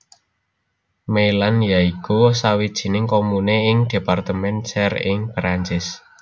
Meillant ya iku sawijining komune ing departemen Cher ing Perancis